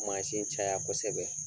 caya kosɛbɛ.